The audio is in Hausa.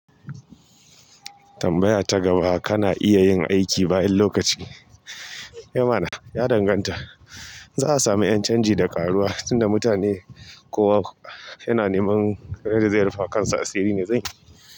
Tambaya ta gaba kana iya yin aiki bayan lokaci? Eh mana, ya danganta. Za a sami ƴancanji da ƙaruwa tunda mutane kowa yana neman yadda zai rufewakansa asiri ne sai.